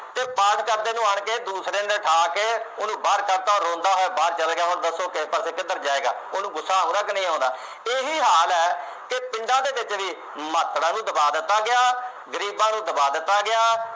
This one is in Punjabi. ਅਤੇ ਪਾਠ ਕਰਦੇ ਨੂੰ ਆਣ ਕੇ ਦੂਸਰੇ ਨੇ ਉਠਾ ਕੇ ਉਹਨੂੰ ਬਾਹਰ ਕੱਢਤਾ, ਉਹ ਰੋਂਦਾ ਹੋਇਆ ਬਾਹਰ ਚੱਲ ਗਿਆ। ਹੁਣ ਦੱਸੋ ਕਿਸ ਪਾਸੇ ਕਿੱਧਰ ਜਾਏਗਾ। ਉਹਨੂੰ ਗੁੱਸਾ ਆਉਂਦਾ ਕਿ ਨਹੀਂ ਆਉਂਦਾ। ਇਹੀ ਹਾਲ ਹੈ ਕਿ ਪਿੰਡਾਂ ਦੇ ਵਿੱਚ ਵੀ ਮਹਾਤੜਾ ਨੂੰ ਦਬਾ ਦਿੱਤਾ ਗਿਆ, ਗਰੀਬਾਂ ਨੂੰ ਦਬਾ ਦਿੱਤਾ ਗਿਆ।